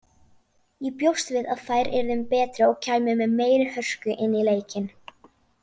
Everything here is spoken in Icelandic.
Ég bjóst við að þær yrðu betri og kæmu með meiri hörku inn í leikinn.